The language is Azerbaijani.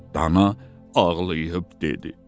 Dana ağlayıb dedi: